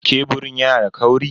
Keburin yana da kauri?